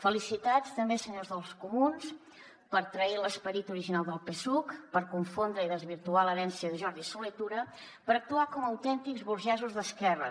felicitats també senyors dels comuns per trair l’esperit original del psuc per confondre i desvirtuar l’herència de jordi solé tura per actuar com autèntics burgesos d’esquerres